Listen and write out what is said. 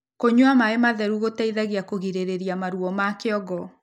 kũnyua maĩ matheru gũteithagia kũgirĩrĩrĩa maruo ma kĩongo